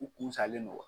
U kun salen don